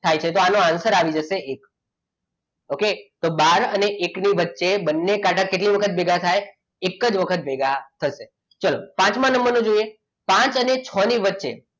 થાય છે તો આનો answer આવી જશે એક okay તો બાર અને એક ની વચ્ચે બંને કાંટા કેટલી વખત ભેગા થાય એક જ વખત ભેગા થશે ચલો પાંચમા નંબરનો જોઈએ પાંચ અને છ ની વચ્ચે